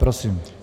Prosím.